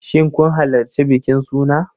Shin kun halarci bikin suna?